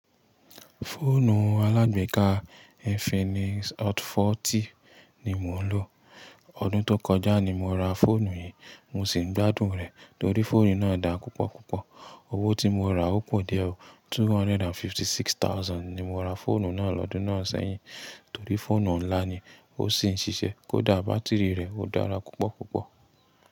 Fóònù alágbéka Infinix Hot 40 ni mó ń ló. Òdun tó kó jà ní mó ra fóònù yì. Mo sì ń gbádùn rẹ̀ torí fóònù náà dáa púpọ̀ púpọ̀. Owó tí mo ra ó pọ̀ díẹ̀. Two hundred and fifty-six thousand ni mo ra fọ́ònù náà lọ́dún náà sẹ́yìn. Torí fóònù ńlá ni, ó sì ń ṣiṣẹ́, kó dà báátìrì rẹ̀ ó dára púpọ̀ púpọ̀.